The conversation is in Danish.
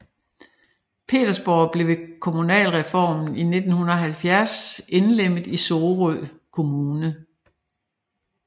Pedersborg blev ved kommunalreformen i 1970 indlemmet i Sorø Kommune